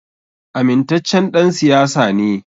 Amintaccen ɗan siyasa ne